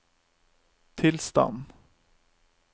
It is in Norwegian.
tilstand